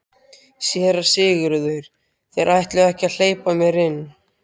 SÉRA SIGURÐUR: Þeir ætluðu ekki að hleypa mér inn.